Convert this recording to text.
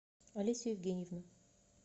олесю евгеньевну